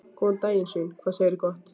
Góðan daginn svín, hvað segirðu gott?